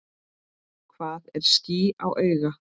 Hvað er ský á auga?